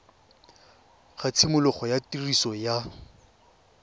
ga tshimologo ya tiriso ya